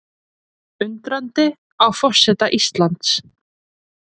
Undrandi á forseta Íslands